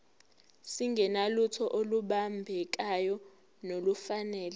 singenalutho olubambekayo nolufanele